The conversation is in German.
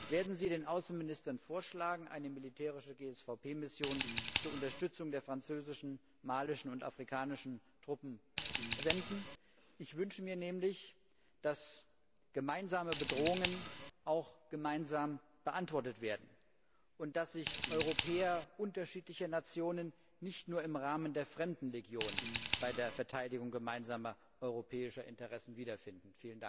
Werden Sie den Außenministern vorschlagen, eine militärische GSVP Mission zur Unterstützung der französischen, malischen und afrikanischen Truppen zu entsenden? Ich wünsche mir nämlich, dass gemeinsame Bedrohungen auch gemeinsam beantwortet werden, und dass sich Europäer unterschiedlicher Nationen nicht nur im Rahmen der Fremdenlegion bei der Verteidigung gemeinsamer europäischer Interessen wiederfinden.